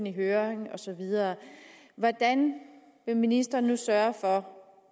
i høring og så videre hvordan ministeren vil sørge for